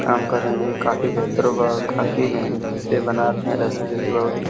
काम कर रहे हैं। काफी बेहतर होगा और काफी मेहनत से बनाते हैं रस्सी बहुत ही --